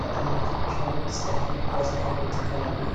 ንኣብነት ከም ፀብሒ መስርሒ እንጥቀመሉ እዩ፡፡